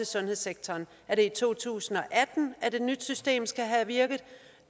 sundhedssektoren er det i to tusind og atten at et nyt system skal virke